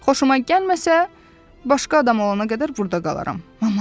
Xoşuma gəlməsə, başqa adam olana qədər burda qalaram.